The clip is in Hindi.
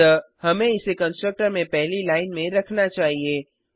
अतः हमें इसे कंस्ट्रक्टर में पहली लाइन में रखना चाहिए